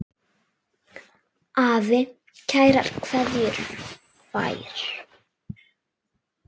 Afi kærar kveðjur fær.